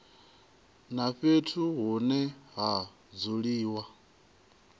na fhethu hune ha dzuliwa